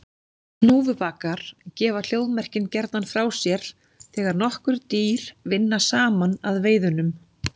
Hnúfubakar gefa hljóðmerkin gjarnan frá sér þegar nokkur dýr vinna saman að veiðunum.